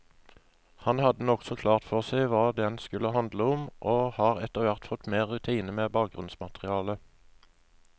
Han hadde nokså klart for seg hva den skulle handle om, og har etterhvert fått mer rutine med bakgrunnsmaterialet.